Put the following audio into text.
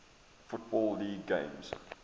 football league games